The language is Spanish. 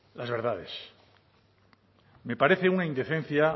las verdades me parece una indecencia